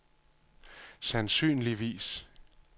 sandsynligvis